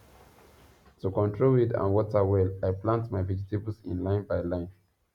to control weed and water well i plant my vegetables in line by line